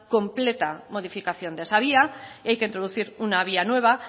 completa modificación de esa vía y hay que introducir una vía nueva